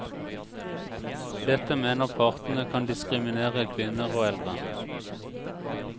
Dette mener partene kan diskriminere kvinner og eldre.